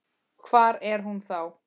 Hvar er hún þá?